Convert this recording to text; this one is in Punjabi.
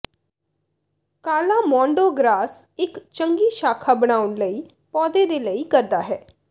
ਕਾਲਾ ਮੌਡੋ ਗਰਾਸ ਇੱਕ ਚੰਗੀ ਸ਼ਾਖਾ ਬਣਾਉਣ ਲਈ ਪੌਦੇ ਦੇ ਲਈ ਕਰਦਾ ਹੈ